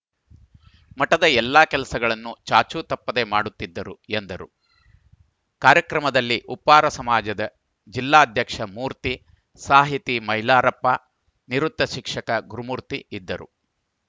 ಮಠದ ಎಲ್ಲಾ ಕೆಲಸಗಳನ್ನು ಚಾಚು ತಪ್ಪದೆ ಮಾಡುತ್ತಿದ್ದರು ಎಂದರು ಕಾರ್ಯಕ್ರಮದಲ್ಲಿ ಉಪ್ಪಾರ ಸಮಾಜದ ಜಿಲ್ಲಾಧ್ಯಕ್ಷ ಮೂರ್ತಿ ಸಾಹಿತಿ ಮೈಲಾರಪ್ಪ ನಿವೃತ್ತ ಶಿಕ್ಷಕ ಗುರುಮೂರ್ತಿ ಇದ್ದರು